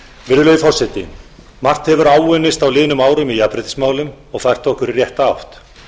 virðulegi forseti margt hefur áunnist á liðnum árum í jafnréttismálum og fært okkur í rétta átt